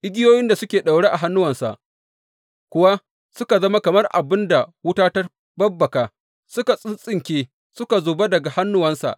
Igiyoyin da suke daure a hannuwansa kuwa suka zama kamar abin da wuta ta babbaka, suka tsintsinke suka zuba daga hannuwansa.